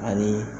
Ani